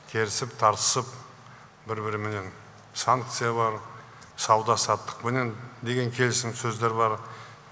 керісіп тартысып бір біріменен санкциялар сауда саттықпенен деген келісім сөздер бар